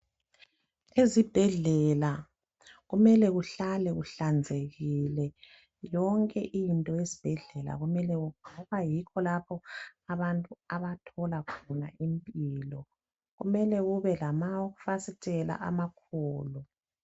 Ezibhedlela kumele kuhlale kuhlanzekile. Yonke into esibhedlela kumele ngoba yikho lapho abantu abathola khona impilo. Kumele kube lamafasitela amakhulu.